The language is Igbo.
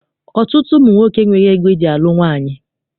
Ọtụtụ ụmụ nwoke enweghị ego eji alụ nwaanyị.